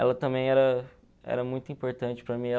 Ela também era era muito importante para mim.